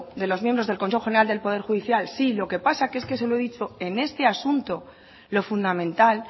de los miembros del consejo general del poder judicial sí lo que pasa es que como se lo he dicho en este asunto lo fundamental